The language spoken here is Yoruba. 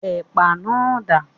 Ẹ̀pà náà dà?